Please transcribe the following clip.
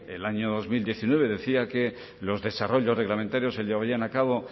del año dos mil diecinueve decía que los desarrollos reglamentarios se llevarían a cabo